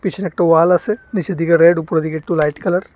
পিছনে একটা ওয়াল আসে নিচের দিকে রেড উপরের দিকে একটু লাইট কালার ।